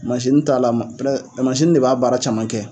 Mansini t'a la ma, mansini de b'a baara caman kɛ.